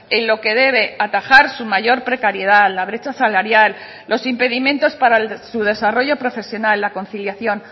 en lo que debe atajar su mayor precariedad la brecha salarial los impedimentos para su desarrollo profesional la conciliación